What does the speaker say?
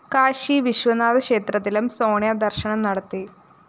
കാശി വിശ്വനാഥ ക്ഷേത്രത്തിലും സോണിയ ദര്‍ശനം നടത്തി